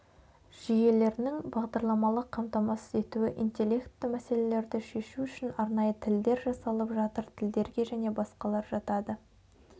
жүйелерінің бағдарламалық қамтамасыз етуі интелектті мәселелерді шешу үшін арнайы тілдер жасалып жатыр тілдерге және басқалар жатады